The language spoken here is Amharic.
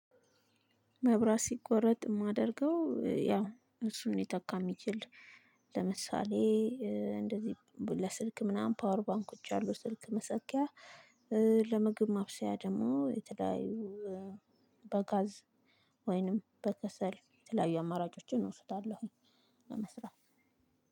መብራት ሲቆረጥ የማደርገው ያው እሱን ሊተካ የሚችል ለምሳሌ እንደዚህ ለስልክ ምናምን ፓወር ባንኮች አሉ። ስልክ መሰኪያ። ለምግብ ማብሰያ ደግሞ የተለያዩ። በጋዝ ወይንም በከሰል የተለያዩ አማራጮችን እወስዳለሁ። ለመስራት